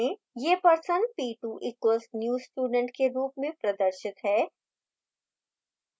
यह person p2 equals new student के रूप में प्रदर्शित है